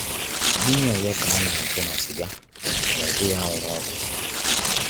Gịnị ọzọ ka a na chọ na sịga ma ọbụghị anwụrụ-ọkụ?